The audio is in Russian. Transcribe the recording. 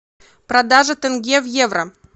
продажа тенге в евро